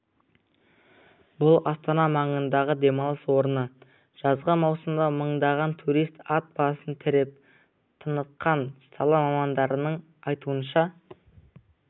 бұл астана маңындағы демалыс орны жазғы маусымда мыңдаған турист ат басын тіреп тыныққан сала мамандарының айтуынша